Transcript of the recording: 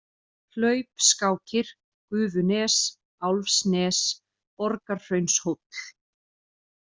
Hlaupskákir, Gufunes, Álfsnes, Borgarhraunshóll